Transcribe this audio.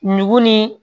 Nugu ni